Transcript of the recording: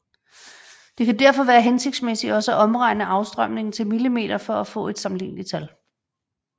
Det kan derfor være hensigtsmæssigt også at omregne afstrømningen til mm for at få et sammenligneligt tal